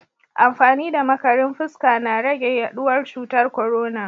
Amfani da makarin fuska na rage yaduwar cutar korona.